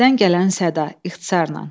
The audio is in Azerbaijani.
Dənizdən gələn səda, ixtisarən.